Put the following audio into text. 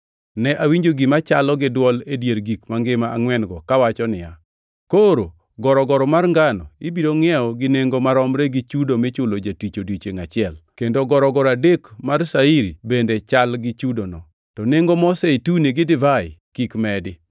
Ne awinjo gima chalo gi dwol e dier gik mangima angʼwen-go kawacho niya, “Koro gorogoro mar ngano ibiro ngʼiew gi nengo maromre gi chudo michulo jatich e odiechiengʼ achiel kendo gorogoro adek mar shairi bende chal gi chudono, to nengo mo zeituni gi divai kik medi.”